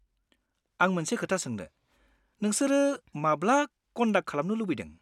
आं मोनसे खोथा सोंनो, नोंसोरो माब्ला कन्डाक खालामनो लुबैदों?